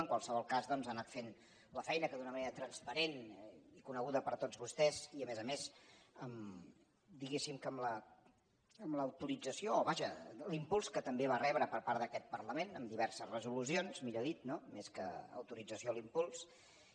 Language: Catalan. en qualsevol cas doncs ha anat fent la feina que d’una manera transparent i coneguda per tots vostès i a més a més diguéssim que amb l’autorització o vaja l’impuls que també va rebre per part d’aquest parlament amb diverses resolucions millor dit no més que autorització l’impuls